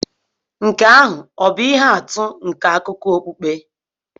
Nke ahụ ọ̀ bụ ihe atụ nke akụkọ okpukpe?